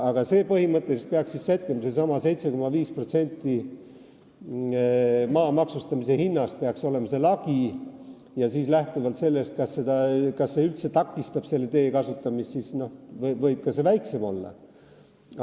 Aga seda põhimõtteliselt peaks siis sättima, seesama 7,5% maa maksustamise hinnast peaks olema see lagi ja siis, lähtuvalt sellest, kas see üldse takistab selle tee kasutamist, võib see ka väiksem olla.